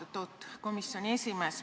Austatud komisjoni esimees!